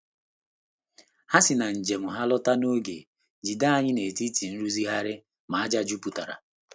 Ha si na njem ha lọta n'oge, jide anyị n'etiti nrụzigharị ma ájá jupụtara.